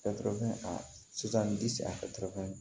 sisan ni